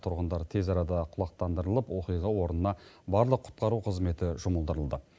тұрғындар тез арада құлақтандырылып оқиға орнына барлық құтқару қызметі жұмылдырылды